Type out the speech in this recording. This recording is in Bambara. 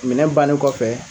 Minɛ bannen kɔfɛ